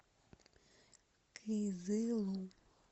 кызылу